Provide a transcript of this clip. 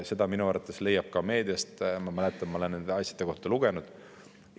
Seda minu arvates leiab ka meediast, ma mäletan, ma olen nende asjade kohta lugenud.